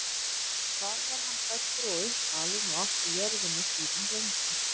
þar var hann fæddur og uppalinn og átti jörðina síðan lengi